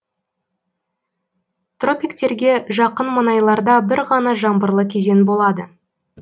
тропиктерге жақын маңайларда бір ғана жаңбырлы кезең болады